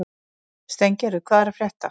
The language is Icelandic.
Steingerður, hvað er að frétta?